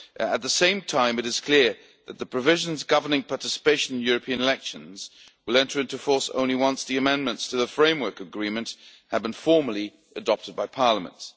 At the same time, it is clear that the provisions governing participation in European elections will enter into force only once the amendments to the Framework Agreement have been formally adopted by Parliament.